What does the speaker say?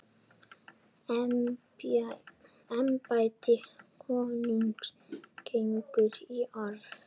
Embætti konungs gengur í arf.